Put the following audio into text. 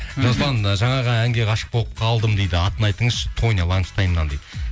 жасұлан ы жаңағы әнге ғашық болып қалдым дейді атын айтыңызшы тониланштаймнан дейді